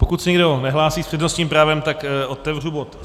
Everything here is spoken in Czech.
Pokud se nikdo nehlásí s přednostním právem, tak otevřu bod